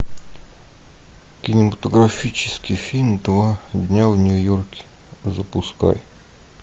кинематографический фильм два дня в нью йорке запускай